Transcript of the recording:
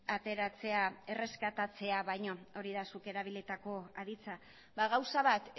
ateratzea baino hori da zuk erabilitako aditzak gauza bat